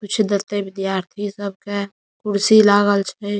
कुछ देते विद्यार्थी सबके कुर्सी लागल छै।